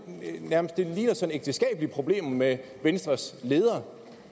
ægteskabeligt problem med venstres leder